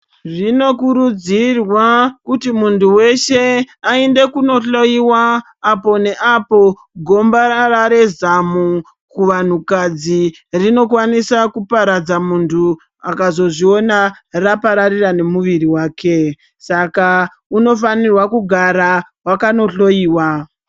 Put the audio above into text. Zvinokurudzirwa kuti muntu weshe ainde kundohloiwa apo neapo gombarara rezamu kuvanhu kadzi rinokwanisa kuparadza muntu akazozviona rapararira nemuviri wake saka unofanirwa kugara wakandohloiwa.